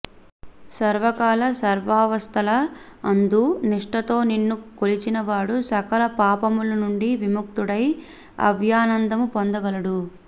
సర్వకాల సర్వావస్థల అందు నిష్ఠతో నిన్ను కొలిచిన వాడు సకల పాపముల నుండి విముక్తుడై అవ్యయానందము పొందగలడు